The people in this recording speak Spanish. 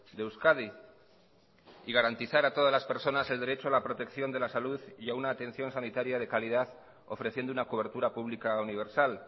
de euskadi y garantizar a todas las personas el derecho a la protección de la salud y a una atención sanitaria de calidad ofreciendo una cobertura pública universal